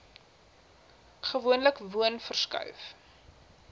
gewoonlik woon verskuif